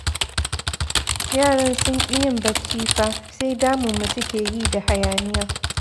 Yaran sun ƙi yin bacci fa, sai damun mu suke yi da hayaniya.